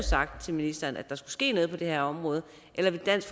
sagt til ministeren at der skulle ske noget på det her område og ellers